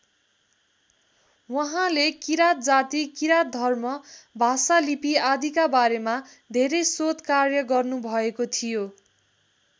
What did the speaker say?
उहाँले किराँत जाति किराँत धर्म भाषा लिपि आदिका बारेमा धेरै शोधकार्य गर्नुभएको थियो।